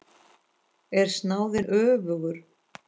Er snáðinn öfugur?